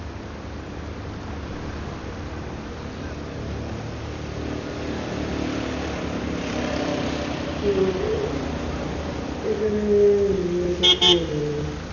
তো এখানে রিয়াকে কি আর বলবে